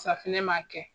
Safinɛ m'a kɛ